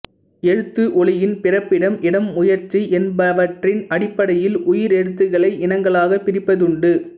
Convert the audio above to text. எழுத்து ஒலியின் பிறப்பிடம் இடம் முயற்சி என்பவற்றின் அடிப்படையில் உயிரெழுத்துக்களை இனங்களாகப் பிரிப்பதுண்டு